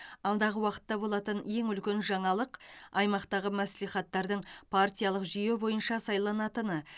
алдағы уақытта болатын ең үлкен жаңалық аймақтағы мәслихаттардың партиялық жүйе бойынша сайланатыны